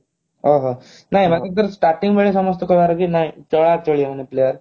ଓଃ ହୋ ନାଇ ମାନେ staring ବେଳେ ସମସ୍ତେ କହିବାର କି ନାହିଁ ଚଳାଚଳି ମାନେ player